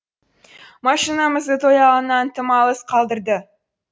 машинамызды той алаңынан тым алыс қалдырды